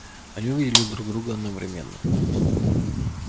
они увидели друг друга одновременно